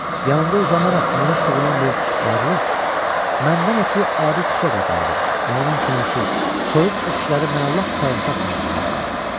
Yanımda uzanaraq mənə sığınan bu varlıq məndən ötrü adi küçə qadını idi və onun könülsüz, soyuq öpüşləri mənə lap sarımsaq tamı bağışlayırdı.